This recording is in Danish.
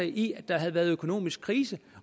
i at der havde været økonomisk krise